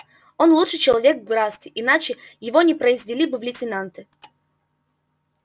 он лучший человек в графстве иначе его не произвели бы в лейтенанты